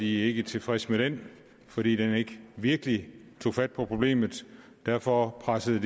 ikke tilfredse med den fordi den ikke virkelig tog fat på problemet derfor pressede